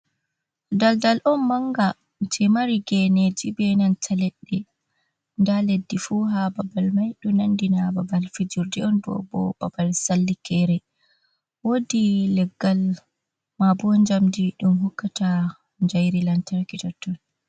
Daldal on manga je mari geneeji, benan ta leɗɗe, Nda leddi fu ha babal man. Ɗo nandi na babal fijirde on, ko bo babal sallikeere. Woodi leggal mabo njamdi ɗum hokkata jairi lantarki totton.